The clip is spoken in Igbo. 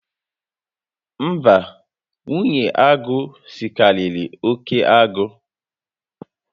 Mba, nwunye agụ sikariri oke agụ